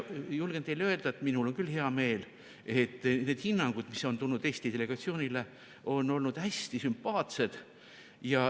Julgen teile öelda, et minul on küll hea meel, et need hinnangud, mis on tulnud Eesti delegatsioonile, on olnud hästi sümpaatsed.